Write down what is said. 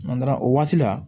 o waati la